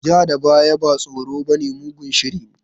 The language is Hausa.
Ja da baya ba tsoro bane, mugun shiri ne.